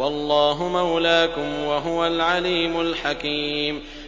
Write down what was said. وَاللَّهُ مَوْلَاكُمْ ۖ وَهُوَ الْعَلِيمُ الْحَكِيمُ